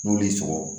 N'olu y'i sɔrɔ